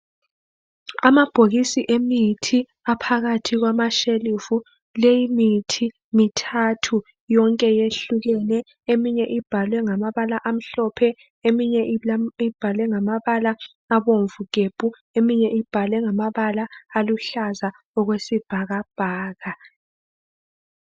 Amabhokisi emithi a phakathi kwama shelufu le imithi imithathu yonke yehlukene eminye libhalwe ngamabala amhlophe amanye abomvu njalo amanye aluhlaza okwesibhakabhaka